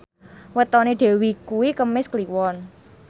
wetone Dewi kuwi Kemis Kliwon